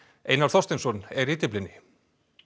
Einar Þorsteinsson er í Dyflinni